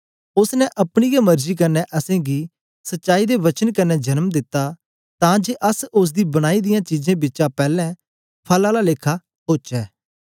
ओसने अपनी गै मर्जी कन्ने असेंगी सच्चाई दे वचन कन्ने जन्म दित्ता तां जे अस ओसदी बनाई दियां चीजें बिचा पैले फल आला लेखा ओचै